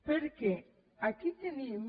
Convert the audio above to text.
perquè aquí tenim